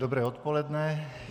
Dobré odpoledne.